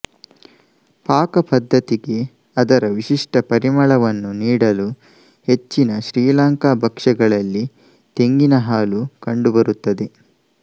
ಪಾಕಪದ್ಧತಿಗೆ ಅದರ ವಿಶಿಷ್ಟ ಪರಿಮಳವನ್ನು ನೀಡಲು ಹೆಚ್ಚಿನ ಶ್ರೀಲಂಕಾದ ಭಕ್ಷ್ಯಗಳಲ್ಲಿ ತೆಂಗಿನ ಹಾಲು ಕಂಡುಬರುತ್ತದೆ